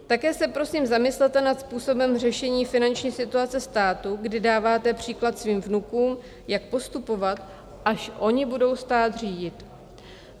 Také se, prosím, zamyslete nad způsobem řešení finanční situace státu, kdy dáváte příklad svým vnukům, jak postupovat, až oni budou stát řídit."